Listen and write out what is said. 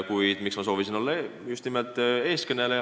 Kuid miks ma soovisin olla eestkõneleja?